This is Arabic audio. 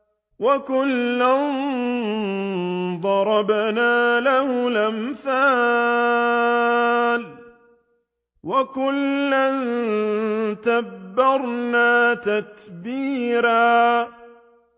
وَكُلًّا ضَرَبْنَا لَهُ الْأَمْثَالَ ۖ وَكُلًّا تَبَّرْنَا تَتْبِيرًا